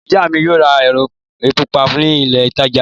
Ìyá mi yóò ra epo pupa ni ilé-ìtajà ńlá.